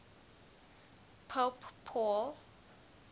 pope paul